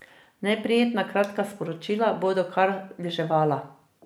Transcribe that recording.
Neprijetna kratka sporočila bodo kar deževala.